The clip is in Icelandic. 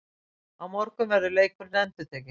Á morgun verður leikurinn endurtekinn